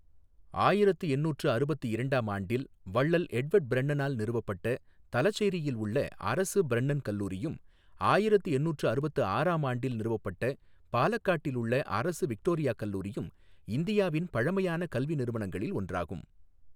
ஆயிரத்து எந்நூற்று அறுபத்து இரண்டாம் ஆண்டில் வள்ளல் எட்வர்ட் பிரென்னனால் நிறுவப்பட்ட தலசேரியில் உள்ள அரசு பிரென்னென் கல்லூரியும், ஆயிரத்து எந்நூற்று அறுபத்து ஆறாம் ஆண்டில் நிறுவப்பட்ட பாலக்காட்டில் உள்ள அரசு விக்டோரியா கல்லூரியும் இந்தியாவின் பழமையான கல்வி நிறுவனங்களில் ஒன்றாகும்.